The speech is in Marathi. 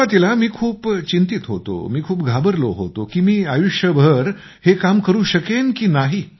सुरुवातीला मी खूप चिंतीत होतो मी खूप घाबरलो होतो की मी आयुष्यभर हे काम करू शकेन की नाही